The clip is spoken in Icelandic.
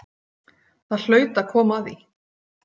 Það hlaut að koma að því